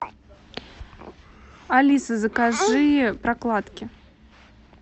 алиса закажи прокладки